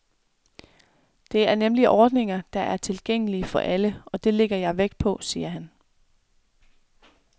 Det er nemlig ordninger, der er tilgængelige for alle, og det lægger jeg vægt på, siger han.